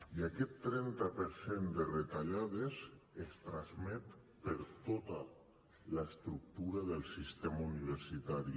i aquest trenta per cent de retallades es transmet per tota l’estructura del sistema universitari